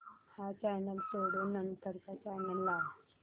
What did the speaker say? हा चॅनल सोडून नंतर चा चॅनल लाव